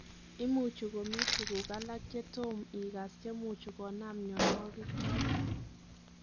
Imuchi komi tuguk alak che tom igas chemuchi Konaam mnyonwogi choton.